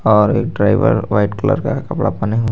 और एक driver white colour का कपड़ा पहने हु--